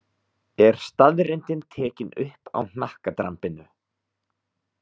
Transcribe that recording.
Er staðreyndin tekin upp á hnakkadrambinu.